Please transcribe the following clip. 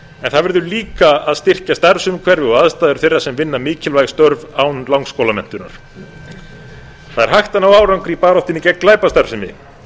það verður líka að styrkja starfsumhverfi og mikilvægi þeirra sem vinna mikilvæg störf án langskólamenntunar það er hægt að ná árangri í baráttunni gegn glæpastarfsemi